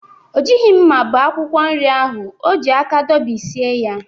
O jighi akwa ihicha ahụ hicha ahụ ya nke ọma: mmiri ka dị ya n'arụ.